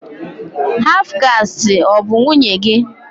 Haf kasti ọ bụ nwunye gị?